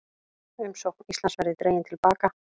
Umsókn Íslands verði dregin til baka